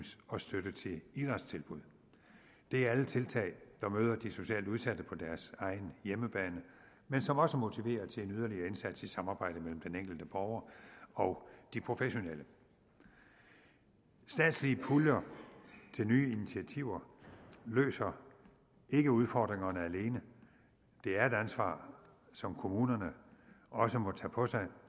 og støtte til idrætstilbud det er alle tiltag der møder de socialt udsatte på deres egen hjemmebane men som også motiverer til en yderligere indsats i samarbejde mellem den enkelte borger og de professionelle statslige puljer til nye initiativer løser ikke udfordringerne alene det er et ansvar som kommunerne også må tage på sig